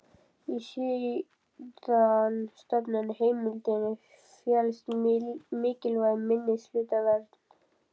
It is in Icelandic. Í síðastnefndu heimildinni felst mikilvæg minnihlutavernd.